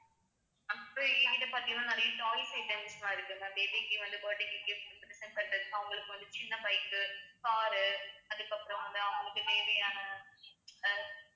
எங்ககிட்ட பார்த்தீங்கன்னா நிறைய toys items லாம் இருக்கு ma'am baby க்கு வந்து birthday க்கு gift உ பண்றது அவுங்களுக்கு வந்து சின்ன bikes உ car உ அதுக்கப்புறம் வந்து அவங்களுக்கு தேவையான அஹ்